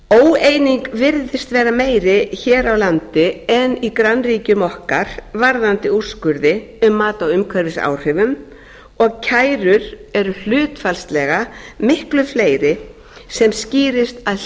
óeining virðist vera meiri hér á landi en í grannríkjum okkar varðandi úrskurði um mat á umhverfisáhrifum og kærur eru hlutfallslega miklu fleiri sem skýrist að